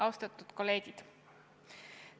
Austatud kolleegid!